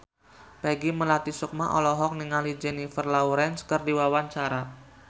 Peggy Melati Sukma olohok ningali Jennifer Lawrence keur diwawancara